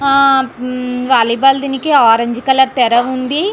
ఆహ్ um volleyball దీనికి orange colour తెర ఉంది.